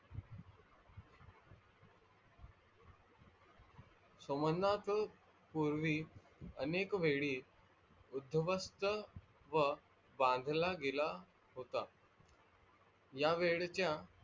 सोमनाथ पूर्वी अनेक वेळी उद्ध्वस्त व बंदला गेला होता. या वेळच्या